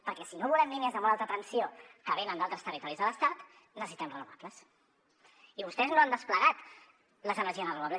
perquè si no volem línies de molt alta tensió que venen d’altres territoris de l’estat necessitem renovables i vostès no han desplegat les energies renovables